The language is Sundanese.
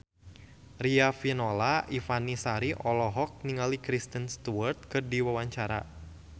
Riafinola Ifani Sari olohok ningali Kristen Stewart keur diwawancara